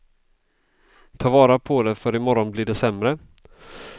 Ta vara på det för i morgon blir det sämre.